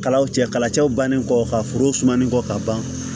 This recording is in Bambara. Kalaw cɛ kalacɛw bannen kɔfɛ ka foro sumani kɔ ka ban